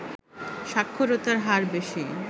সাক্ষরতার হার বেশি